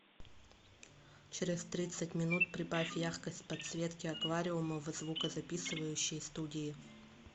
через тридцать минут прибавь яркость подсветки аквариума в звукозаписывающей студии